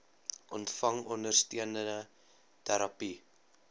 ontvang ondersteunende terapie